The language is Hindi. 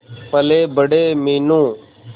पलेबड़े मीनू